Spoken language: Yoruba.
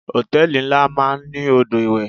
Hòtẹ́lìì ńlá máa ń ní odò ìwẹ̀.